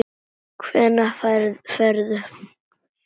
Hvenær ferðu?